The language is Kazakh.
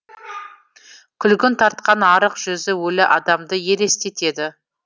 күлгін тартқан арық жүзі өлі адамды елестетеді